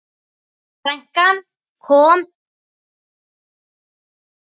Frænkan kom til okkar.